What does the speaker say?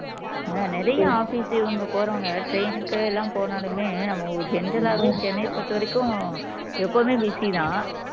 அதான் நிறைய office இவங்க போறவங்க train க்கு எல்லாம் போனாலுமே அவன் general ஆவே சென்னைய பொறுத்த வரைக்கும் எப்போதுமே busy தான்